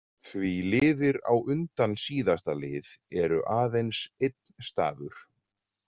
Því liðir á undan síðasta lið eru aðeins einn stafur.